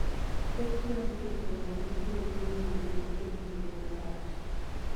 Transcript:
Pek mar yudo jogo ma biro ng'iewo ring'o kuom kinde malach.